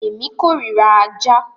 Èmi kórira ajá.